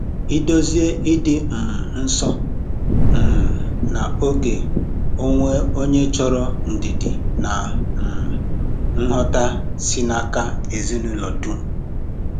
Ị̀dòzie ìdị um nso um na ògè onwe onye chọrọ ndidi na um nghọ̀ta si n’aka ezinụlọ dum.